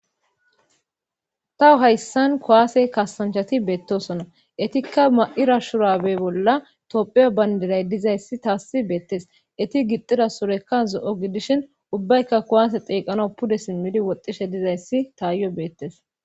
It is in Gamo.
Taw hayssan kuwaase kasanchati beettosona etikka ma7ira shurabe bolla topheyo bayndilay dizayssi taassi beettes eti gixxira surekka zo7o gidishin ubbaykka kowaase xeeqano pude simmidi woxxishe dizayssi taayyo beettes